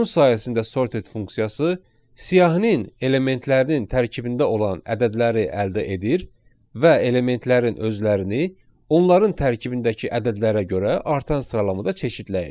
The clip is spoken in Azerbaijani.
Bunun sayəsində sorted funksiyası siyahının elementlərinin tərkibində olan ədədləri əldə edir və elementlərin özlərini onların tərkibindəki ədədlərə görə artan sıralamada çeşidləyir.